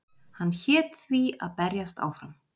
Hann hét því að berjast áfram